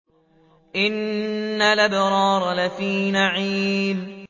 إِنَّ الْأَبْرَارَ لَفِي نَعِيمٍ